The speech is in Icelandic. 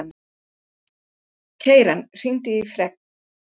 Keran, hringdu í Fregn.